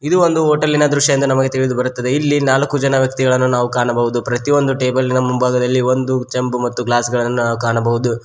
ಇದು ಒಂದು ಹೋಟೆಲಿನ ದೃಶ್ಯ ಎಂದು ನಮಗೆ ತಿಳಿದುಬರುತ್ತದೆ ಇಲ್ಲಿ ನಾಲ್ಕು ಜನ ವ್ಯಕ್ತಿಗಳನ್ನು ನಾವು ಕಾಣಬಹುದು ಪ್ರತಿಯೊಂದು ಟೇಬಲಿನ ಮುಂಭಾಗದಲ್ಲಿ ಒಂದು ಚಂಬು ಮತ್ತು ಗ್ಲಾಸ್ ಗಳನ್ನು ಕಾಣಬಹುದು.